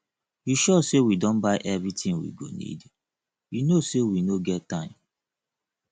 you sure say we don buy everything we go needyou no say we no get time